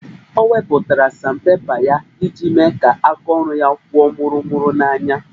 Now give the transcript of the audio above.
Ọ wepụtara sandpepa ya iji mee kaa aka ọrụ ya kwụọ mụrụ mụru n'anya